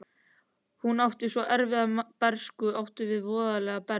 Hún átti svo erfiða bernsku, átti svo voðalega bernsku.